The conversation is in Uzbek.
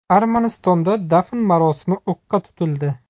Armanistonda dafn marosimi o‘qqa tutildi.